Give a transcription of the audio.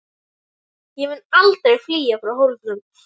Ég mun aldrei flýja frá Hólum!